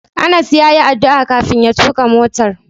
Anas yayi addu'a kafin ya tuka motar.